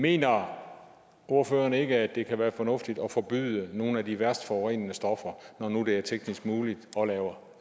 mener ordføreren ikke at det kan være fornuftigt at forbyde nogle af de værst forurenende stoffer når nu det er teknisk muligt